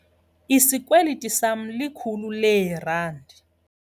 Isikweliti sama likhulu leerandi.